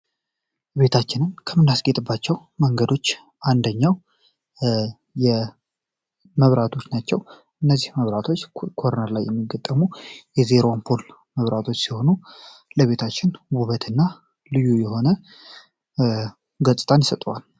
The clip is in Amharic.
ቤታችንም ከምናስጌጥባቸው መንገዶች አንደኛው የመብራቶች ናቸው እነዚህ መብራቶች ኮርነር ላይ የመገጠሙ የዜሮን ፖል መብራቶች ሲሆኑ ለቤታችን ቡበት እና ልዩ የሆነ ገጽጣን ይሰጠዋል